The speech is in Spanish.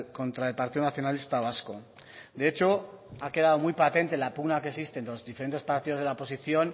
contra el partido nacionalista vasco de hecho ha quedado muy patente la pugna que existe entre los diferentes partidos de la oposición